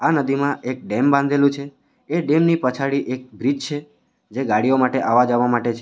નદીમાં એક ડેમ બાંધેલુ છે એ ડેમની પછાડી એક બ્રિજ છે જે ગાડીઓ માટે આવવા જવા માટે છે.